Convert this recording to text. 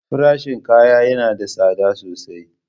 Farashin kaya yana da tsada sosai.